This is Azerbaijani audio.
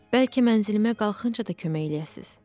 Bəlkə mənzilimə qalxınca da kömək eləyəsiniz?